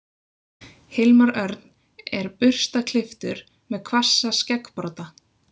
Hilmar Örn er burstaklipptur með hvassa skeggbrodda.